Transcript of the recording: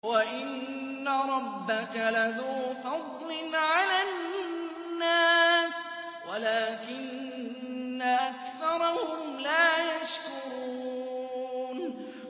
وَإِنَّ رَبَّكَ لَذُو فَضْلٍ عَلَى النَّاسِ وَلَٰكِنَّ أَكْثَرَهُمْ لَا يَشْكُرُونَ